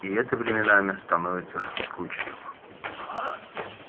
и это временами становится скучным